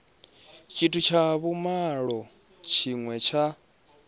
tshithu tsha vhumalo tshine tsha